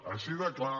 així de clar